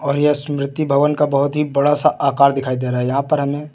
और यह स्मृति भवन का बोहोत ही बड़ा सा आकार दिखाई दे रहा है यहां पर हमें।